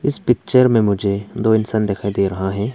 इस पिक्चर में मुझे दो इंसान दिखाई दे रहा है।